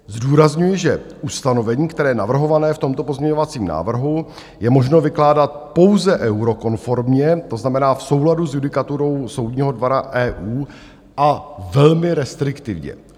Zdůrazňuji, že ustanovení, které je navrhované v tomto pozměňovacím návrhu, je možno vykládat pouze eurokonformně, to znamená v souladu s judikaturou Soudního dvora EU a velmi restriktivně.